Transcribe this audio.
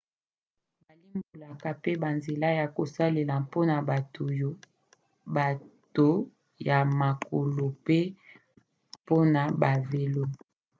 balimbolaka pe banzela ya kosalela mpona bato ya makolo pe mpona bavelo